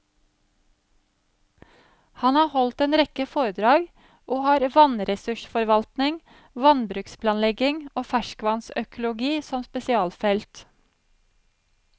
Han har holdt en rekke foredrag, og har vannressursforvaltning, vannbruksplanlegging og ferskvannsøkologi som spesialfelt.